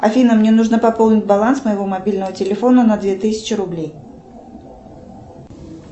афина мне нужно пополнить баланс моего мобильного телефона на две тысячи рублей